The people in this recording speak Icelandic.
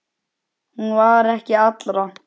Hún var ekki allra.